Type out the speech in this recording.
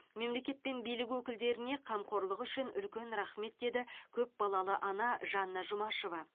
мемлекет пен билік өкілдеріне қамқорлығы үшін үлкен рахмет деді көпбалалы ана жанна жұмашева